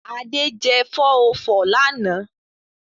Ade jẹ 404 lánàá.